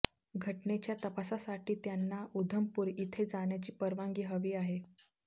घटनेच्या तपासासाठी त्यांना उधमपूर इथे जाण्याची परवानगी हवी आहे